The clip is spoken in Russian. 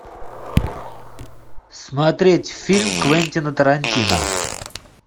смотреть фильм квентина тарантино